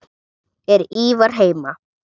Er Ívar heima?